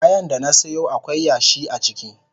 Ayan da na siyo akwai yashi a ciki.